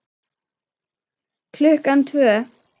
Klukkan tvö.